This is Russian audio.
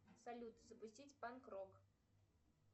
салют запустить панк рок